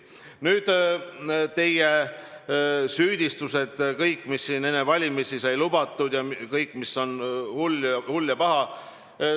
Nüüd kõik need teie süüdistused – mis siin enne valimisi sai lubatud ja muu hull ja paha.